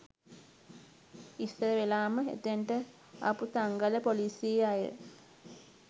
ඉස්සර වෙලාම එතැනට ආපු තංගල්ල ‍පොලිසියේ අය